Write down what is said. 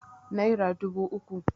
naira dubu uku